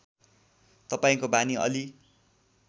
तपाईँको बानी अलि